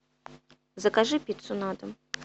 закажи пиццу на дом